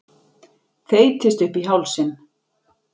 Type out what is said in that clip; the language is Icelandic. Þeytist upp í hálsinn.